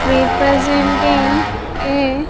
Representing a --